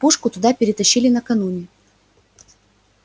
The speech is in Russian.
пушку туда перетащили накануне